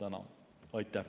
Aitäh!